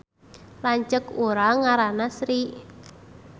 Lanceuk urang ngaranna Sri